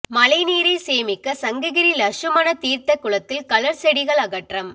மழைநீரை சேமிக்க சங்ககிரி லஷ்சுமண தீர்த்த குளத்தில் களர் செடிகள் அகற்றம்